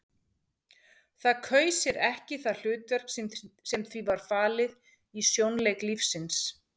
Það kaus sér ekki það hlutverk sem því var falið í sjónleik lífsins.